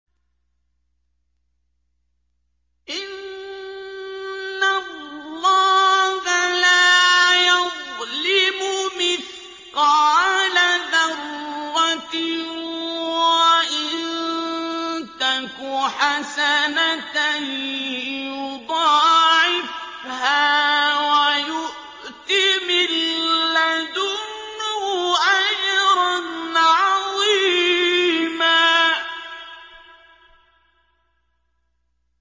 إِنَّ اللَّهَ لَا يَظْلِمُ مِثْقَالَ ذَرَّةٍ ۖ وَإِن تَكُ حَسَنَةً يُضَاعِفْهَا وَيُؤْتِ مِن لَّدُنْهُ أَجْرًا عَظِيمًا